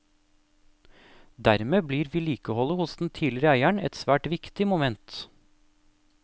Dermed blir vedlikeholdet hos den tidligere eieren et svært viktig moment.